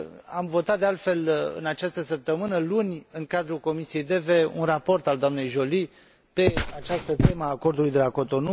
Am votat, de altfel, în această săptămână, luni, în cadrul Comisiei DEVE un raport al doamnei Jolie pe această temă a Acordului de la Cotonou.